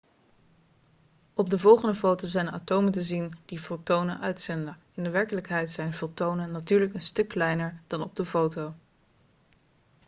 op de volgende foto zijn atomen te zien die fotonen uitzenden in werkelijkheid zijn fotonen natuurlijk een stuk kleiner dan op de foto